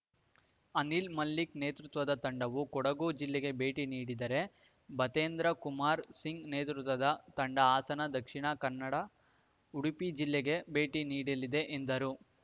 ಅನಿಲ್‌ ಮಲ್ಲಿಕ್‌ ನೇತೃತ್ವದ ತಂಡವು ಕೊಡಗು ಜಿಲ್ಲೆಗೆ ಭೇಟಿ ನೀಡಿದರೆ ಭತೇಂದ್ರ ಕುಮಾರ್‌ ಸಿಂಗ್‌ ನೇತೃತ್ವದ ತಂಡ ಹಾಸನ ದಕ್ಷಿಣ ಕನ್ನಡ ಉಡುಪಿ ಜಿಲ್ಲೆಗಳಿಗೆ ಭೇಟಿ ನೀಡ್ ಎಲ್ಲಿದೆ ಎಂದರು